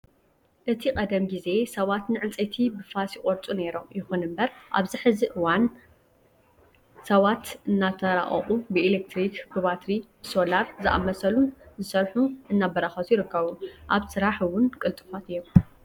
እቲ ቀደም ግዜ ሰባት ንዕንፀይቲ ብፋስ ይቆርፁ ነይሮም። ይኹን እምበር ኣብዚ ሕዚ እዋን ሰባት እናተራቐቁ ብኤሌትሪክ፣ ብባትሪ፣ ብሶላርን ዝኣመሰሉን ዝሰርሑ እናተበራኸቱ ይርከቡ። ኣብ ስራሕ እውን ቅልጡፋት እዮም።